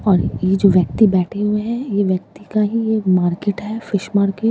और यह जो व्यक्ति बैठे हुए हैं यह व्यक्ति का ही मार्केट है फिश मार्केट ।